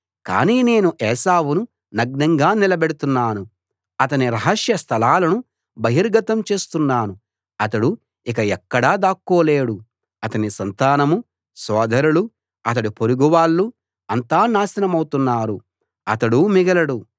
కానీ నేను ఏశావును నగ్నంగా నిలబెడుతున్నాను అతని రహస్య స్థలాలను బహిర్గతం చేస్తున్నాను అతడు ఇక ఎక్కడా దాక్కోలేడు అతని సంతానం సోదరులూ అతడి పొరుగు వాళ్ళూ అంతా నాశనమవుతున్నారు అతడూ మిగలడు